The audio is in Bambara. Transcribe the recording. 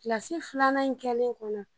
filanan in kɛlen kɔnɔ